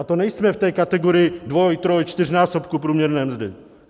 A to nejsme v té kategorii dvoj-, troj-, čtyřnásobku průměrné mzdy.